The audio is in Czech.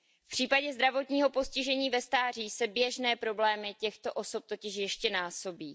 V případě zdravotního postižení ve stáří se běžné problémy těchto osob totiž ještě násobí.